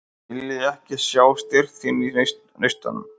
Vilja ekki sjá styrk þinn í neistunum.